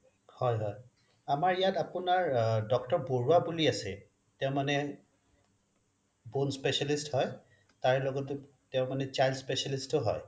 আমাৰ ইয়াত আপোনাৰ doctor বৰুৱা বুলি আছে তেওঁ মানে bone specialist হয় তাৰ লগতে তেওঁ মানে child specialist য়ো হয়